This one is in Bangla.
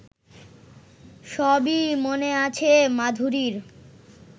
সবই মনে আছে মাধুরীর